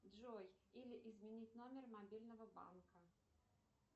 джой или изменить номер мобильного банка